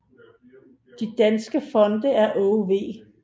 De danske fonde er Aage V